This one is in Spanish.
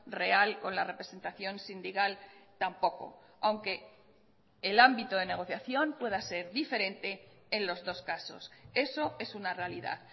real con la representación sindical tampoco aunque el ámbito de negociación pueda ser diferente en los dos casos eso es una realidad